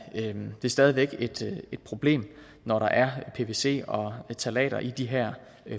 stadig væk et problem når der er pvc og ftalater i de her